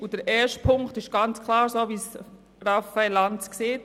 Beim ersten Punkt ist es klar so, wie Raphael Lanz gesagt hat.